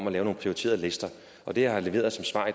at lave nogle prioriterede lister og det jeg har leveret som svar